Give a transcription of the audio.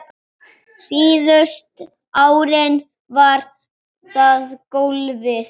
Síðustu árin var það golfið.